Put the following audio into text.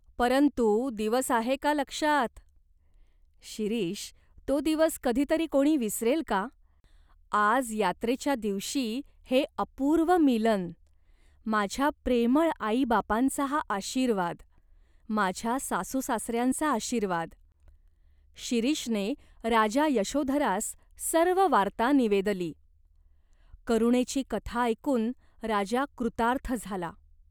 परंतु दिवस आहे का लक्षात ?" "शिरीष, तो दिवस कधी तरी कोणी विसरेल का ?" "आज यात्रेच्या दिवशी हे अपूर्व मीलन." "माझ्या प्रेमळ आईबापांचा हा आशीर्वाद." "माझ्या सासूसासऱ्यांचा आशीर्वाद." शिरीषने राजा यशोधरास सर्व वार्ता निवेदली. करुणेची कथा ऐकून राजा कृतार्थ झाला.